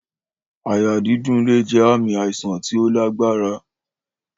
Àyà dídùn lè jẹ ààmì àìsàn tí ó lágbára